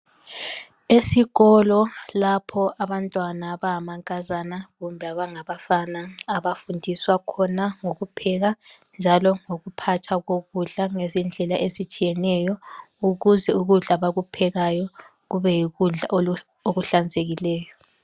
Esikolo lapho abantwana abangamankazana kumbe abangabafana abafundiswa khona ngokupheka njalo ngokuphatha kokudla ngezindlela ezitshiyeneyo ukuze ukudla abakuphekayo kube yikudla okuhlanzekileyo.